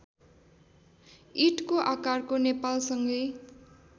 ईँटको आकारको नेपालसँगै